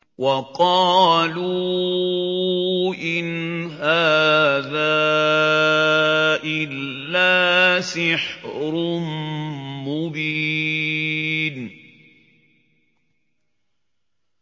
وَقَالُوا إِنْ هَٰذَا إِلَّا سِحْرٌ مُّبِينٌ